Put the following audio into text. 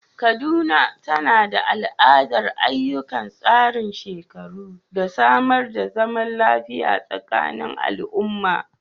Kaduna, tana da al’adar ayyukan tsarin shekaru, da samar da zaman lafiya a tsakanin al’umma.